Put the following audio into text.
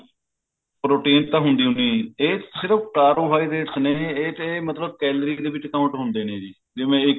ਰੋਟੀ ਵਿੱਚ ਤਾਂ ਹੁੰਦੀ ਓ ਨਹੀਂ ਇਹ ਸਿਰਫ carbohydrates ਨੇ ਇਹ ਤੇ ਮਤਲਬ calories ਦੇ ਵਿੱਚ count ਹੁੰਦੇ ਨੇ ਜੀ ਜਿਵੇਂ ਇੱਕ